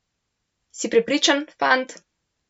Si prepričan, fant?